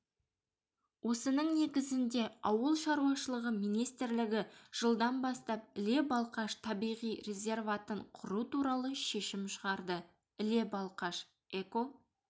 осының негізінде ауыл шаруашылығы министрлігі жылдан бастап іле-балқаш табиғи резерватын құру туралы шешім шығарды іле-балқаш эко